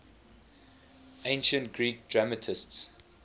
ancient greek dramatists